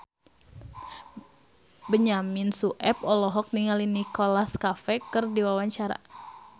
Benyamin Sueb olohok ningali Nicholas Cafe keur diwawancara